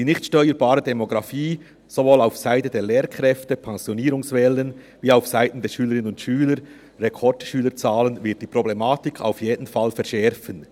Die nicht steuerbare Demografie sowohl seitens der Lehrkräfte, Pensionierungswellen, als auch seitens der Schülerinnen und Schüler, Rekordschülerzahlen, wird die Problematik auf jeden Fall verschärfen.